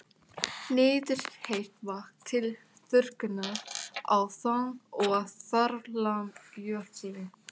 Nýtir heitt vatn til þurrkunar á þang- og þaramjöli.